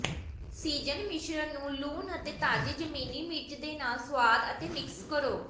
season ਮਿਸ਼ਰਣ ਨੂੰ ਲੂਣ ਅਤੇ ਤਾਜ਼ੇ ਜ਼ਮੀਨੀ ਮਿਰਚ ਦੇ ਨਾਲ ਸੁਆਦ ਅਤੇ ਮਿਕਸ ਕਰੋ